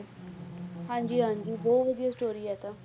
ਹਾਂਜੀ ਹਾਂਜੀ ਬਹੁਤ ਵਧੀਆ story ਹੈ ਇਹ ਤਾਂ